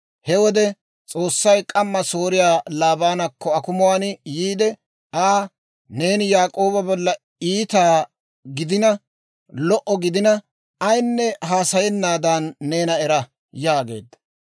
He wode S'oossay k'amma Sooriyaa Laabaanakko akumuwaan yiide Aa, «Neeni Yaak'ooba bolla iita gidina, lo"a gidina, ayinne haasayennaadan neena era!» yaageedda.